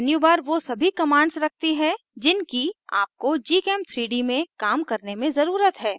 menubar वो सभी commands रखती है जिनकी आपको gchem3d में काम करने में ज़रुरत है